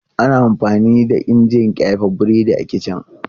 Ana amfani da injin ƙyafe burodi a kici.